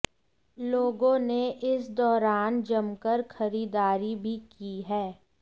लोगों ने इस दौरान जमकर खरीददारी भी की है